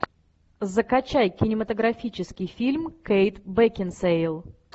закачай кинематографический фильм кейт бекинсейл